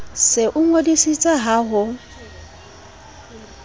se o ngodisitse ha ho